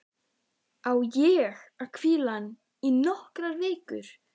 Á ég að hvíla hann í nokkrar vikur?